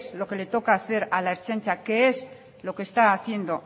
lo que le toca hacer a la ertzaintza que es lo que está haciendo